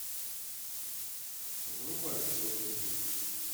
врубай робин гуд